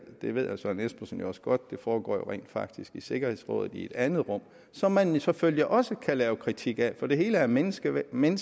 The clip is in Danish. det ved herre søren espersen jo også godt foregår rent faktisk i sikkerhedsrådet i et andet rum som man selvfølgelig også kan have kritik af for det hele er menneskeskabt men